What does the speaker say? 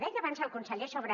deia abans el conseller sobre